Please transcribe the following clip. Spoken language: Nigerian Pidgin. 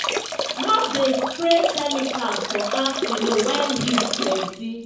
no dey spray chemicals for afternoon wen heat plenty